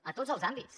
a tots els àmbits